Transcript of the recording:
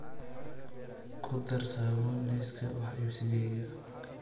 ku dar saabuun liiska wax iibsigayga